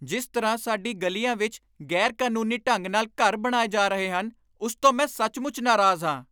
ਜਿਸ ਤਰ੍ਹਾਂ ਸਾਡੀਆਂ ਗਲੀਆਂ ਵਿੱਚ ਗ਼ੈਰ ਕਾਨੂੰਨੀ ਢੰਗ ਨਾਲ ਘਰ ਬਣਾਏ ਜਾ ਰਹੇ ਹਨ, ਉਸ ਤੋਂ ਮੈਂ ਸੱਚਮੁੱਚ ਨਾਰਾਜ਼ ਹਾਂ